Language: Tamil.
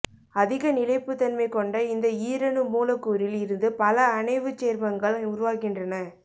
அதிக நிலைப்புத் தன்மை கொண்ட இந்த ஈரணு மூலக்கூறில் இருந்து பல அணைவுச் சேர்மங்கள் உருவாகின்றன